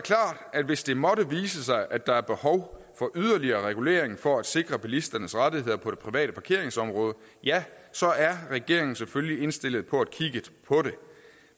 at hvis det måtte vise sig at der er behov for yderligere regulering for at sikre bilisternes rettigheder på det private parkeringsområde ja så er regeringen selvfølgelig indstillet på at kigge på det